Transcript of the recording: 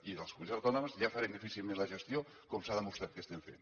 i les comunitats autònomes ja farem difícilment la gestió com s’ha demostrat que estem fent